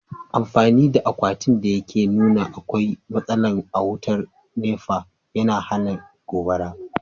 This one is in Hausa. Amfani da akwatin da yake nuna akwai matsala a wutar nepa, yana hana gobara.